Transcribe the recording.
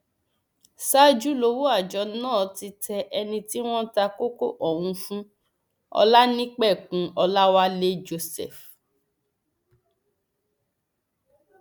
ṣáájú lowó àjọ náà ti tẹ ẹni tí wọn ta kókó ọhún fún olanipẹkun ọlàwálẹ joseph